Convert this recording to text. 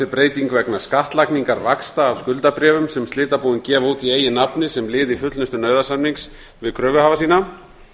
breyting vegna skattlagningar vaxta af skuldabréfs á slitabúin gefa út í eigin nafni sem lið í fullnustu nauðasamnings við kröfuhafa sína